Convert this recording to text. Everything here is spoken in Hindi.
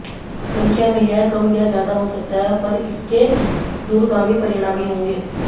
संख्या में यह कम या ज्यादा हो सकता है पर इसके दूरगामी परिणामी होंगे